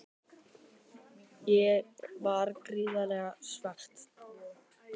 Ég var gríðarlega svekkt.